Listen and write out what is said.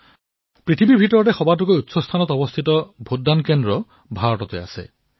বিশ্বৰ ভিতৰত সবাতোকৈ উচ্চ স্থানত থকা ভোটদান কেন্দ্ৰও ভাৰততেই আছে